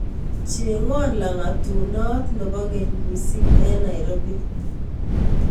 Cheng'won laagatunoot ne po keny miising' eng' Nairobi